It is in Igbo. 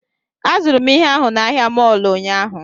Azụrụ m ihe ahụ na ahịa mọọlụ ụnyaahụ